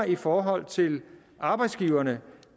i forhold til arbejdsgiverne